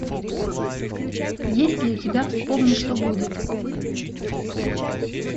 есть ли у тебя вспомни что будет